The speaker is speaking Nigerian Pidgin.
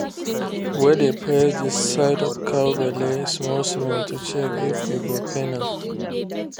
we dey press the side of the cow belle small small to check if e go pain am.